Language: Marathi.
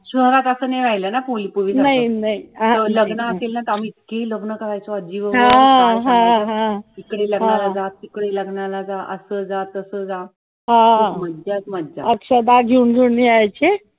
शहरात doctor नाही राहील ना कोणी पूर्वी सारखी लग्न असतील ना तर आम्ही इतकी लग्न करायचो इकडे लग्नाला जा तिकडे लग्नाला जा असं जा तसं जा त्याच म्हणतात